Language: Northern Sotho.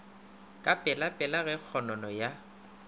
ka pelapela ge kgonono ya